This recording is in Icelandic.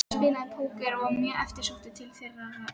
Hann spilaði póker og var mjög eftirsóttur til þeirrar iðju.